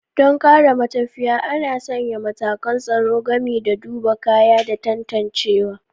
Don kare matafiya, ana sanya matakan tsaro gami da duba kaya da tantancewa.